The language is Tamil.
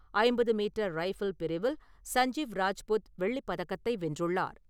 ஐம்பது மீட்டர் ரைஃபிள் பிரிவில் சஞ்சீவ் ராஜ்புத் வெள்ளிப் பதக்கத்தை வென்றுள்ளார்.